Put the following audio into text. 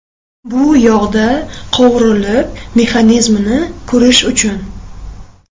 Bu yog‘da qovurilib, mexanizmini ko‘rish uchun.